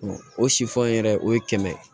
o sifaw yɛrɛ o ye kɛmɛ